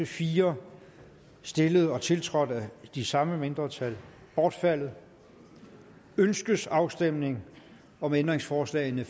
fire stillet og tiltrådt af de samme mindretal bortfaldet ønskes afstemning om ændringsforslagene